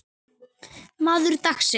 Maður dagsins?